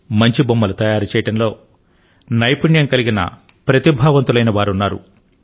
మంచి బొమ్మలు తయారు చేయడంలో నైపుణ్యం కలిగిన ప్రతిభావంతులైన వారున్నారు